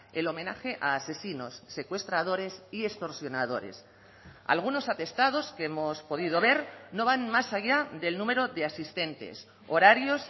el homenaje a asesinos secuestradores y extorsionadores algunos atestados que hemos podido ver no van más allá del número de asistentes horarios